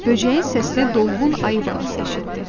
Böcəyin səsini dolğun ayı balası eşitdi.